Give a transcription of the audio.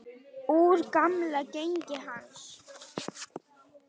Úr gamla genginu hans.